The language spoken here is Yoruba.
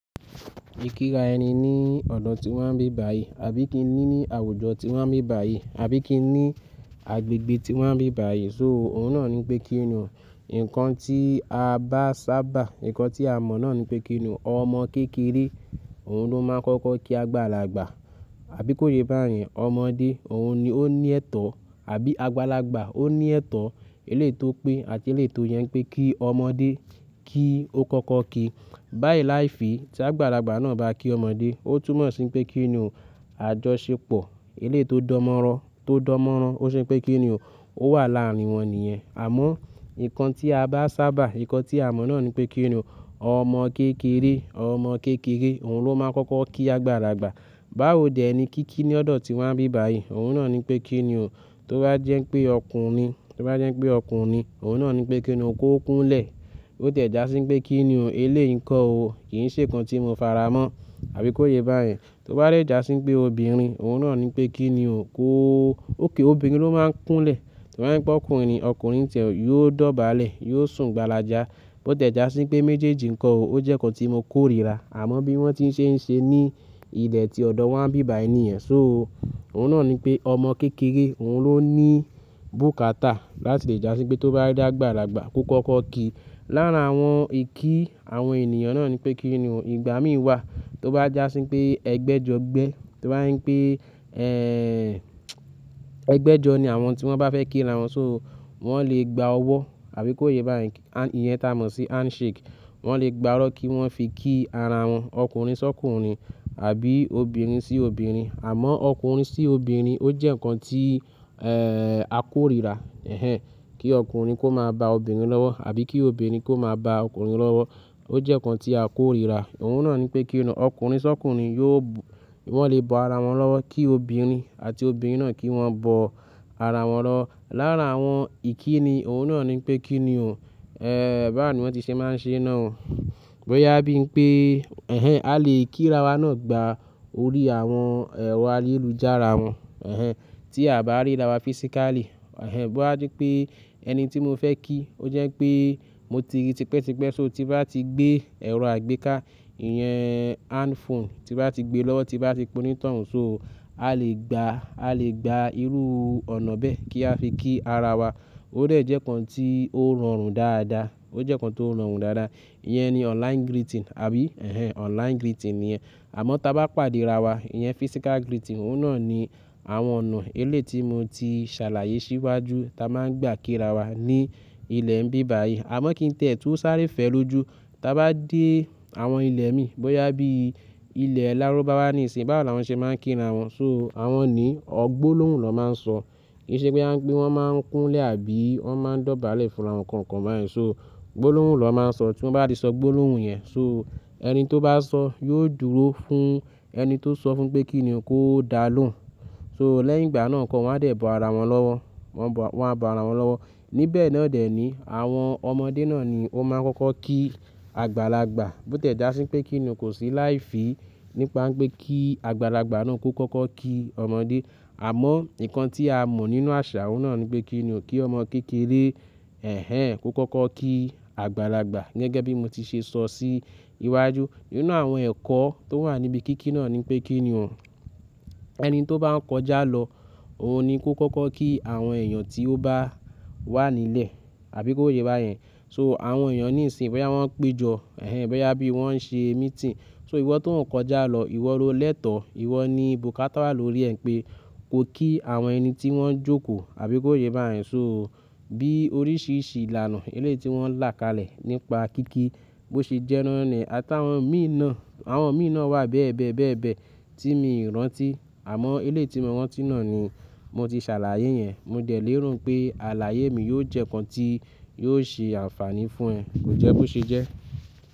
Ìkíra ẹni ní ọ̀dọ̀ tí wa n bí bà yìí, àbí kín ni ní àwùjọ tí wa n bí bà yìí, àbí kí ni agbègbè tí wa n bí bà yìí. So òun náà ni pé kí ni o. Ǹkan tí a bá sábà, ǹkan tí a mọ̀ náà ni pé kí ni o. Ọmọ kékeré, òun ló máa ń kọ́kọ́ kí àgbàlagbà. Àbí kó yé bá yẹn, ọmọdé òun ni ó ní ẹ̀tọ́. Àbí àgbàlagbà ó ní ẹ̀tọ́. Eléto pé àti eléto yẹn pé kí ọmọdé kí ó kọ́kọ́ kí. Bá yí láìfì tí àgbàlagbà náà bá kí ọmọdé, ó túmọ̀ sí pé kí ni o. Àjọṣepọ̀ eléto dánmọ́rán tó dánmọ́rán, tó ṣe pé kí ni o. Ó wà láàárin wọn níyẹn. Àmọ́ ǹkan tí a bá sábà, ǹkan tí a mọ̀ náà ni pé kí ni o. Ọmọ kékeré, ọmọ kékeré òun ló máa ń kọ́kọ́ kí àgbàlagbà. Báwo dè ni kí kí ní ọ̀dọ̀ tí wa n bí bà yìí, òun náà ni pé kí ni o. Tó bá jẹ́ pé ọkùnrin ni, tó bá jẹ́ pé ọkùnrin ni, òun náà ni pé kí ni o kó kúnlẹ̀. Ó ti ẹ̀ já sí pé kí ni o eléyìn ǹko o, kì í ṣe ǹkan tí mo faramọ́. Àbí kó yé bá yẹn. Tó bá de jà sí pé obìnrin, òun náà ni pé kí ni o kó ó. Ókay obìnrin ló máa ń kúnlẹ̀. Tó bá jepé ọkùnrin, ọkùnrin n ti ẹ̀ yóò dọ̀bálẹ̀, yóò sùn gbàlàjà. Bó ti ẹ̀ já sí pé méjèèjì ǹkan o, ó jẹ́ ǹkan tí mo kórìíra. Àmọ́ bí wọ́n tí ń ṣe ń ṣe ní ilẹ̀ tí ọ̀dọ̀ wa n bí bà yìí ni yen. So òun náà ni pé ọmọ kékeré òun ló ní bùkátà láti lè já sí pé tó bá rí àgbàlagbà kó kọ́kọ́ kí. Lára àwọn ìkí àwọn ènìyàn náà ni pé kí ni o. Ìgbà mí wà tó bá já sí pé ẹgbẹ́jọẹ̀gbẹ́, tó bá jẹ̀ n pé, ẹ́, ẹgbẹ́jọ ni àwọn tí wọ́n bá fẹ́ kí ara wọn. So wọ́n lè gba ọwọ́ àbí kó yé bá yẹn. Iyen ta mọ̀ sí handshake. Wọn lè gba ọ́wọ̀ kí wọ́n fi kí ara wọn. Ọkùnrin sọ́kùnrin àbí obìnrin sí obìnrin. Àmọ́ ọkùnrin sí obìnrin ó jẹ́ ǹkan tí, ẹ́, a kórìíra. Ẹ̀hẹn! Kí ọkùnrin kó máa bá obìnrin lọ́wọ́ àbí kí obìnrin kó máa bá ọkùnrin lọ́wọ́. Ó jẹ́ ǹkan tí a kórìíra. Òun náà ni pé kí ni o. Ọkùnrin sọ́kùnrin yóò, wọ́n lè bọ́ ara wọn lọ́wọ́ kí obìnrin àti obìnrin náà kí wọ́n bọ́ ara wọn lọ́wọ́. Lára àwọn ìkí ni òun náà ni pé kí ni o. Ẹ́, báwo ni wọ́n ti ṣe máa ń ṣe náà o? Bí ó yá bí i pé, ẹ̀hẹn, a lè kí ara wa náà gba orí àwọn, ẹ́, ẹ̀rọ ayélujára wọn. Ẹ̀hẹn! Tí a bá rí ara wa physically. Ẹ̀hẹn! Bí ó bá jẹ́ pé ẹni tí mo fẹ́ kí ó jẹ́ pé mo ti rí tipẹ́tipẹ́. So tí bá ti gbé ẹ̀rọ àgbéká, ìyẹn handphone tí bá ti gbé lọ́wọ́, tí bá ti pe ónítọ̀ un. So a lè gba, a lè gba irú ọ̀nà bẹ́ẹ̀ kí a fi kí ara wa. Ó dà jẹ́ ǹkan tí ó rọrùn dáadáa. Ó jẹ́ ǹkan tí ó rọrùn dáadáa. Iyẹn ni online greeting àbí, ẹ̀hẹn, online greeting niyẹn. Àmọ́ tí a bá pàdé ara wa, iyẹn physical greeting. Òun náà ni àwọn ọ̀nà eléyii tí mo ti ṣàlàyé síwájú tí a máa ń gbà kí ara wa ní ilẹ̀ ń bí bà yìí. Àmọ́ kí n tiẹ̀ to sáré fẹ́ lójú. Tí a bá dé àwọn ilẹ̀ mi, bóyá bí i ilẹ̀ Lárúbáwá nìì sì báwo la wọ́n ṣe máa ń kí ara wọn? So àwọn ní ọ gbólóhùn nọ̀ máa ń sọ. Kì í ṣe pé a ń pe wọ́n máa ń kúnlẹ̀ àbí wọ́n máa ń dọ̀bálẹ̀ fún ara wọn nkankan bá yẹn. So gbólóhùn na máa ń sọ. Tí wọ́n bá ti sọ gbólóhùn yẹn, so ẹni tí ó bá sọ yóò dúró fún ẹni tí ó sọ fún pé kí ni o kó dá lóhùn. So lẹ́yìn ìgbà náà nkọ́ wọn á dẹ̀ bọ́ ara wọn lọ́wọ́. Wọn á bọ́ ara wọn lọ́wọ́. Níbẹ̀ naa dẹ̀ ní àwọn ọmọdé náà ni ó máa ń kọ́kọ́ kí àgbàlagbà. Bó tiẹ̀ já sí pé kí ni o kò sí láìfì nípa pé kí àgbàlagbà náà kó kọ́kọ́ kí ọmọdé. Àmọ́ ǹkan tí a mọ̀ nínú àṣà oun náà ni pé kí ni o kí ọmọ kékeré, ẹ̀hẹn, kó kọ́kọ́ kí àgbàlagbà gẹ́gẹ́ bí mo ti ṣe sọ sí iwájú. Nínú àwọn ẹ̀kọ́ tó wà níbi kí kí náà ni pé kí ni o. Ẹni tí ó bá ń kọjá lọ òun ni kó kọ́kọ́ kí àwọn èèyàn tí ó bá wà nílẹ̀. Àbí kó yé bá yẹn? So àwọn èèyàn níìsín, bóyá wọ́n ń péjọ, ẹ̀hẹn, bóyá bí wọ́n ń ṣe meeting. So ìwọ tó ń kọjá lọ, ìwọ lo lẹ́tọ̀ọ́. Ìwọ ni bùkátà wà lórí ẹ pé ko kí àwọn ẹni tí wọ́n ń jókòó àbí kó yé bá yẹn. So bí oríṣiríṣi ìlànà eléyìì tí wọ́n ń là kalẹ̀ nípa kí kí bó ṣe jẹ́ náa ni. Àtàwọn mi náà, àwọn mi náà wà bẹ́ẹ̀ bẹ́ẹ̀ bẹ́ẹ̀ bẹ́ẹ̀ tí mi ò rántí. Àmọ́ eléyìì tí mo rántí náà ni mo ti ṣàlàyé yẹn. Mo dẹ̀ léèro npé àlàyé mi yóò jẹ́ ǹkan tí yóò ṣe àǹfààní fún ẹ. Kò jẹ́ bó ṣe jẹ́.